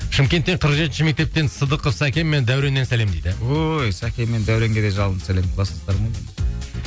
шымкенттен қырық жетінші мектептен сыдықов сәкен мен дәуреннен сәлем дейді ой сәкен мен дәуренге де жалынды сәлем кластастарым ғой менің